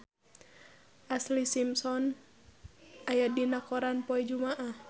Ashlee Simpson aya dina koran poe Jumaah